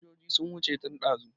Fasinjojin sun wuce tun ɗazu